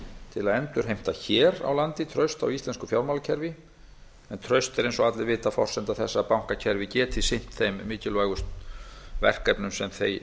til að endurheimta hér á landi traust á íslensku fjármálakerfi en traust er eins og allir vita forsenda þess að bankakerfið geti sinnt þeim mikilvæg verkefnum sem